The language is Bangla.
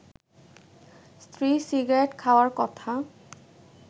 স্ত্রী সিগারেট খাওয়ার কথা